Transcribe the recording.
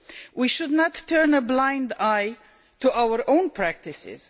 We should not turn a blind eye to our own practices.